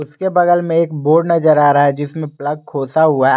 उसके बगल में एक बोर्ड नजर आ रहा है जिसमें प्लक खोसा हुआ है।